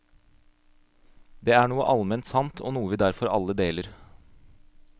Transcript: Det er noe alment sant, og noe vi derfor alle deler.